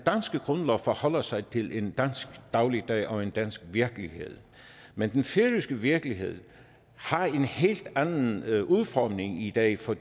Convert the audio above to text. grundlov forholder sig til en dansk dagligdag og en dansk virkelighed men den færøske virkelighed har en helt anden udformning i dag for